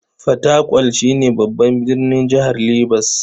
Fatakwal shi ne babban birnin jihar Ribas.